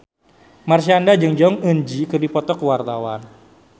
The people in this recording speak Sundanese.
Marshanda jeung Jong Eun Ji keur dipoto ku wartawan